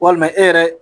Walima e yɛrɛ